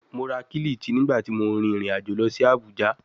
Mo ra kilichi nigbati mo rin irin ajo lọ si Abuja